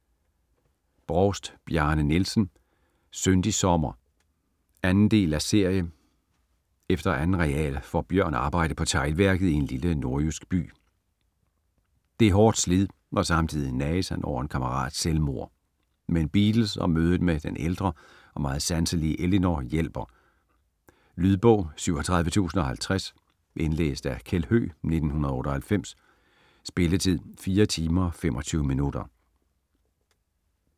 Brovst, Bjarne Nielsen: Syndig sommer 1. del af serie. Efter 2. real får Bjørn arbejde på teglværket i en lille nordjysk by. Det er hårdt slid og samtidig nages han over en kammerats selvmord. Men Beatles og mødet med den ældre og meget sanselige Ellinor hjælper. Lydbog 37050 Indlæst af Kjeld Høegh, 1998. Spilletid: 4 timer, 25 minutter.